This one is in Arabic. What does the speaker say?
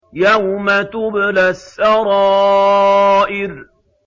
يَوْمَ تُبْلَى السَّرَائِرُ